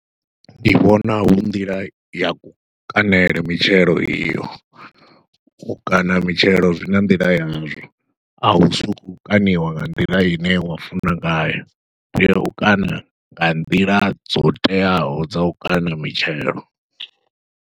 Ndi vhona hu nḓila ya kukaṋele mitshelo iyo, u kaṋa mitshelo zwi na nḓila yazwo a hu suku kaṋiwa nga nḓila ine wa funa ngayo, u tea u kaṋa nga nḓila dzo teaho dza u kaṋa mitshelo.